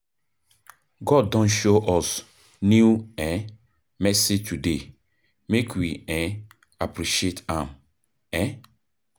God don show us new um mercy today, make we um appreciate am. um